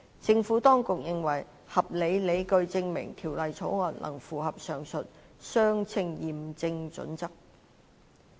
政府當局認為有合理理據證明《條例草案》能符合上述的"相稱驗證準則"。